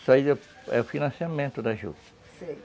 Isso aí é é o financiamento da juta, sei.